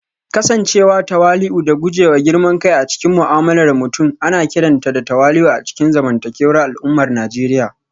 Kasancewa tawali'u da guje wa girman kai a cikin mu'amalar mutum ana kiranta da tawali'u a cikin zamantakewar al'ummar Najeriya